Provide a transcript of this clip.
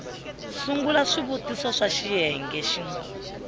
sungula swivutiso swa xiyenge xin